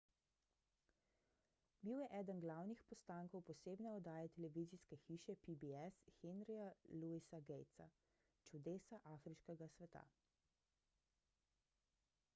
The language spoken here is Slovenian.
bil je eden glavnih postankov posebne oddaje televizijske hiše pbs henryja louisa gatesa »čudesa afriškega sveta«